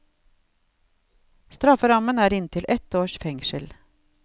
Strafferammen er inntil ett års fengsel.